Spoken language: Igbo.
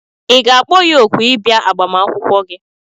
Ị ga-akpọ ya òkù ị bịa agbamakwụkwọ gị?